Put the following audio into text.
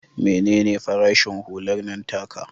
Mene ne farashin hular nan taka?